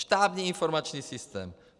Štábní informační systém.